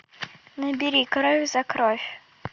набери кровь за кровь